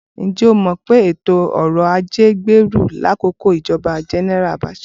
Ǹjẹ́ o mọ̀ pé ètò ọrọ̀ ajé gbèrú lákòókò ìjọba Gẹnẹra Abacha?